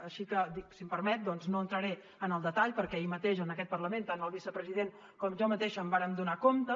així que si m’ho permet no entraré en el detall perquè ahir mateix en aquest parlament tant el vicepresident com jo mateixa en vàrem donar compte